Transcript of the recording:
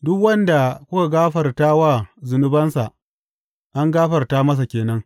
Duk wanda kuka gafarta wa zunubansa, an gafarta masa ke nan.